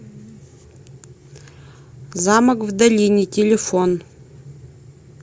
замок в долине телефон